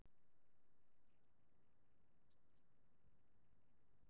En er draumur að komast í Sinfóníuna?